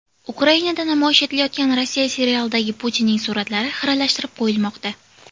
Ukrainada namoyish etilayotgan Rossiya serialidagi Putinning suratlari xiralashtirib qo‘yilmoqda.